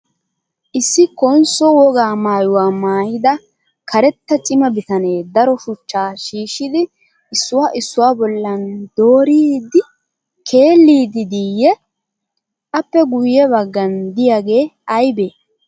Issi konsso wogaa maayuwaa maayida karetta cima bitanee daro shuchchaa shiishshidi issuwaa issuwaa bollan dooridi keeliddi de''iiyyee? Appe guyye baggan diyyage ayiibee?